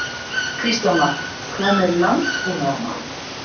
Kristján Már: Hvað með landbúnaðarmálin?